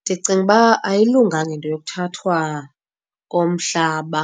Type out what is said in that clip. Ndicinga uba ayilunganga into yokuthathwa komhlaba